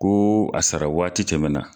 Ko a sara waati tɛmɛna.